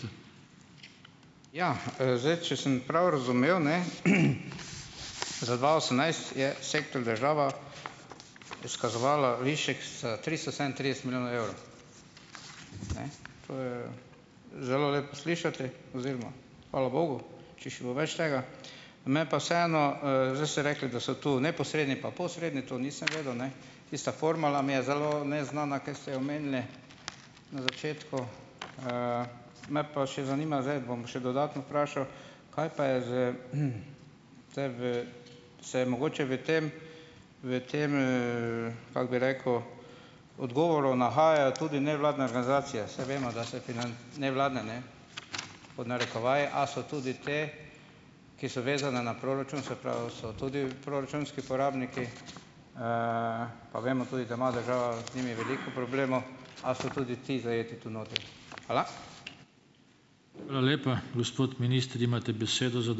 Ja, zdaj, če sem prav razumel, ne, Za dva osemnajst je sektor država izkazovala višek s tristo sedemintrideset milijonov evrov. Ne, to je zelo lepo slišati oziroma hvala bogu, če še bo več tega. Me pa vseeno, zdaj ste rekli, da so tu neposredni pa posredni, to nisem vedel, ne , tista formula mi je zelo neznana, ki ste jo omenili na začetku, me pa še zanima zdaj, bom še dodatno vprašal: Kaj pa je z, se mogoče v tem v tem, kako bi rekel, odgovoru nahajajo tudi nevladne organizacije? Saj vemo, da se nevladne, ne, pod narekovaji, a so tudi te, ki so vezane na proračun, se pravi, so tudi proračunski porabniki, pa vemo tudi, da ima država z njimi veliko a so tudi ti zajeti tu notri? Hvala.